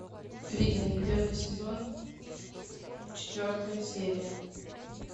викинги первый сезон четвертая серия